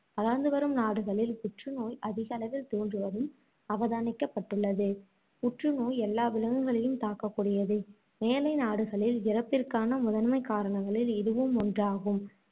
வளர்ந்து வரும் நாடுகளில் புற்று நோய் அதிகளவில் தோன்றுவதும் அவதானிக்கப்பட்டுள்ளது. புற்றுநோய் எல்லா விலங்குகளையும் தாக்கக்கூடியது. மேலை நாடுகளில் இறப்பிற்கான முதன்மைக் காரணங்களில் இதுவும் ஒன்றாகும்.